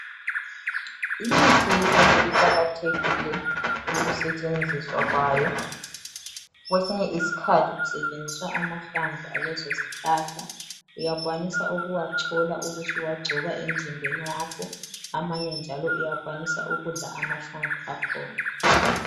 lmithi yesintu iqakathekile ukusetshenziswa kwayo. Kwesinye isikhathi kusetshenziswa amahlamvu alezo zihlahla. Uyakwanisa ukuwachola ubusuwagcoba emzimbeni wakho. Amanye njalo uyakwanisa ukudla amahlamvu akhona.